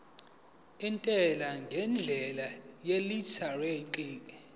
intela ngendlela yeelektroniki